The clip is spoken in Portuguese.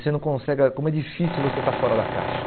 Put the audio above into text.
Você não consegue ãh Como é difícil você estar fora da caixa.